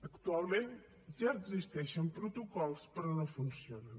actualment ja existeixen protocols però no funcionen